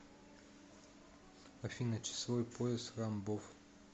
афина часовой пояс рамбов